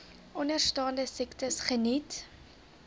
onderstaande siektes geniet